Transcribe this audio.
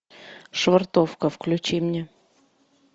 швартовка включи мне